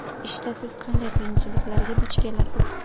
Ishda siz qanday qiyinchiliklarga duch kelasiz?